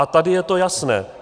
A tady je to jasné.